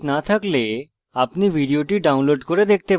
ভাল bandwidth না থাকলে আপনি ভিডিওটি download করে দেখতে পারেন